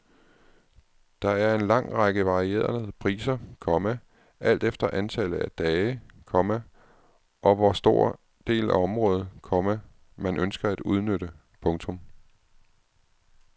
Der er en lang række varierede priser, komma alt efter antallet af dage, komma og hvor stor del af området, komma man ønsker at udnytte. punktum